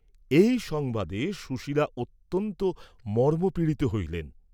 এই সংবাদে সুশীলা অত্যন্ত মর্মপীড়িত হইলেন।